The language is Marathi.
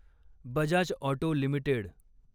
Bajaj auto limited